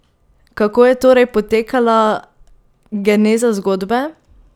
Kako je torej potekala geneza zgodbe?